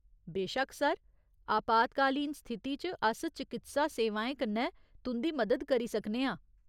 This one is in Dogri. बेशक्क, सर। आपात्कालीन स्थिति च अस चकित्सा सेवाएं कन्नै तुं'दी मदद करी सकने आं।